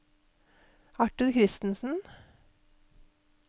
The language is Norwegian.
Arthur Christensen